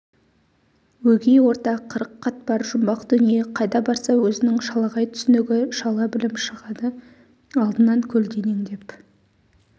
өгей орта қырық қатпар жұмбақ дүние қайда барса өзінің шалағай түсінігі шала білім шығады алдынан көлденеңдеп